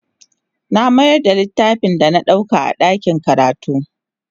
Na mayar da littafin da na ɗauka a ɗakin karatu.